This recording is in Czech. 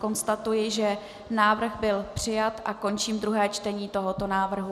Konstatuji, že návrh byl přijat, a končím druhé čtení tohoto návrhu.